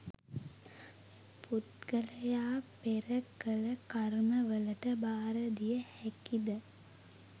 පුද්ගලයා පෙර කළ කර්මවලට භාරදිය හැකි ද?